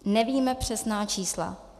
Nevíme přesná čísla.